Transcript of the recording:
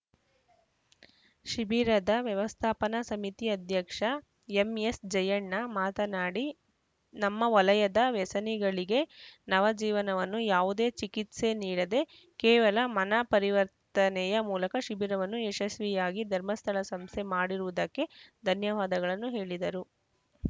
ಶಿಬಿರದ ವ್ಯವಸ್ಥಾಪನಾ ಸಮಿತಿ ಅಧ್ಯಕ್ಷ ಎಂಎಸ್‌ ಜಯ್ಯಣ್ಣ ಮಾತನಾಡಿ ನಮ್ಮ ವಲಯದ ವ್ಯಸನಿಗಳಿಗೆ ನವ ಜೀವನವನ್ನು ಯಾವುದೇ ಚಿಕಿತ್ಸೆ ನೀಡದೆ ಕೇವಲ ಮನಪರಿವರ್ತನೆಯ ಮೂಲಕ ಶಿಬಿರವನ್ನು ಯಶಸ್ವಿಯಾಗಿ ಧರ್ಮಸ್ಥಳ ಸಂಸ್ಥೆ ಮಾಡಿರುವುದಕ್ಕೆ ಧನ್ಯವಾದಗಳನ್ನು ಹೇಳಿದರು